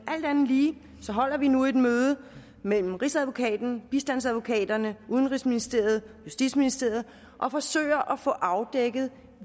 andet lige holder vi nu et møde mellem rigsadvokaten bistandsadvokaterne udenrigsministeriet justitsministeriet og forsøger at få afdækket